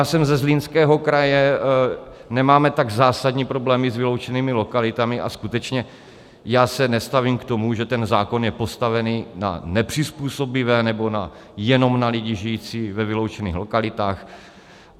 Já jsem ze Zlínského kraje, nemáme tak zásadní problémy s vyloučenými lokalitami a skutečně já se nestavím k tomu, že ten zákon je postavený na nepřizpůsobivé nebo jenom na lidi žijící ve vyloučených lokalitách.